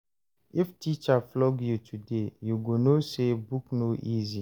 If teacher flog you today, you go know say book no easy.